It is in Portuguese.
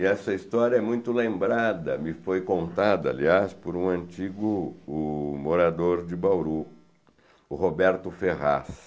E essa história é muito lembrada, me foi contada, aliás, por um antigo, o morador de Bauru, o Roberto Ferraz.